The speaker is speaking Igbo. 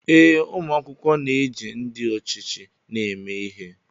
Ee, ụmụ akwụkwọ na-eji ndị ọchịchị ha eme ihe